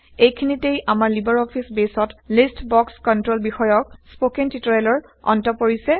এইখিনিতে আমাৰ libre office বেইছত লিষ্ট বক্স কন্ট্ৰল বিষয়ক স্পকেন টিউটৰিয়েলৰ অন্ত পৰিছে